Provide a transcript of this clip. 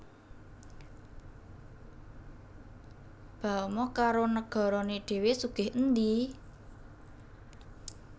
Bahama karo negarane dhewe sugih endi?